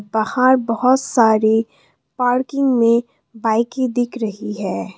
बाहर बहुत सारी पार्किंग में बाइके दिख रही है।